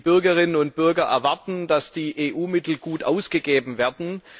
Die Bürgerinnen und Bürger erwarten, dass die EU Mittel gut ausgegeben werden.